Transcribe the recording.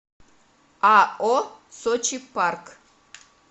ао сочи парк